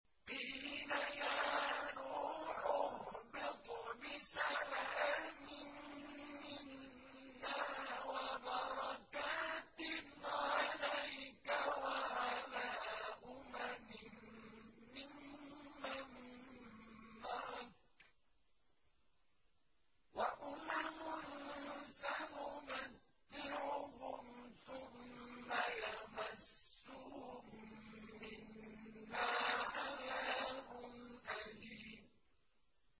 قِيلَ يَا نُوحُ اهْبِطْ بِسَلَامٍ مِّنَّا وَبَرَكَاتٍ عَلَيْكَ وَعَلَىٰ أُمَمٍ مِّمَّن مَّعَكَ ۚ وَأُمَمٌ سَنُمَتِّعُهُمْ ثُمَّ يَمَسُّهُم مِّنَّا عَذَابٌ أَلِيمٌ